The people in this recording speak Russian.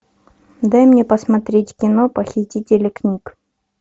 дай мне посмотреть кино похитители книг